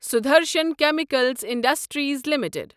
Sudarshan chemical industries limited